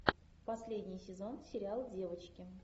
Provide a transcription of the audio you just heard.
последний сезон сериал девочки